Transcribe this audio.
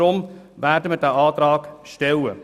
Deshalb werden wir diesen Antrag stellen.